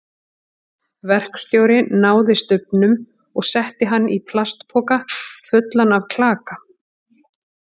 Verkstjóri náði stubbnum og setti hann í plastpoka fullan af klaka.